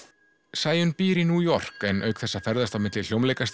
Sæunn býr í New York en auk þess að ferðast á milli